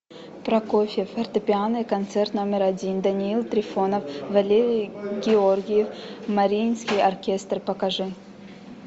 прокофьев фортепиано концерт номер один даниил трифонов валерий гергиев мариинский оркестр покажи